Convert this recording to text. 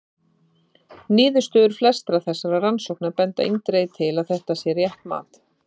Niðurstöður flestra þessara rannsókna benda eindregið til að þetta sé rétt mat.